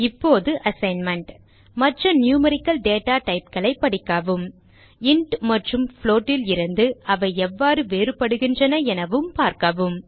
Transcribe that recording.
இப்போது அசைன்மென்ட் மற்ற numerical data typeகளைப் படிக்கவும் இன்ட் மற்றும் float லிருந்து அவை எவ்வாறு வேறுபடுகின்றன எனவும் பார்க்கவும்